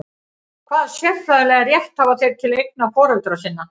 Hvaða siðferðilega rétt hafa þeir til eigna foreldra sinna?